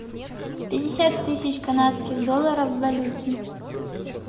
пятьдесят тысяч канадских долларов в валюте